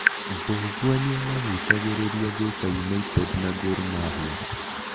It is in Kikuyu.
Mbũgua nĩamagucagĩrĩria Thika United na Gor mahia